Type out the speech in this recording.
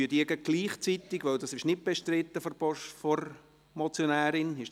Wenn es nicht bestritten ist, stimmen wir gleichzeitig über Annahme und Abschreibung ab.